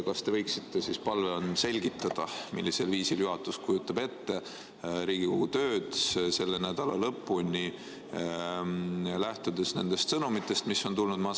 Kas te võiksite siis palun selgitada, millisel viisil juhatus kujutab ette Riigikogu tööd selle nädala lõpuni, lähtudes nendest sõnumitest, mis on tulnud?